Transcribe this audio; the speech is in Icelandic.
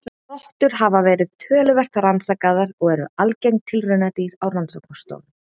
Rottur hafa verið töluvert rannsakaðar og eru algeng tilraunadýr á rannsóknastofum.